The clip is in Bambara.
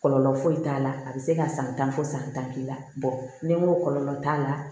Kɔlɔlɔ foyi t'a la a bɛ se ka san tan fɔ san tan k'i la ni n ko kɔlɔlɔ t'a la